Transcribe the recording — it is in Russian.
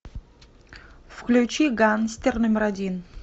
включи гангстер номер один